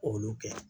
K'olu kɛ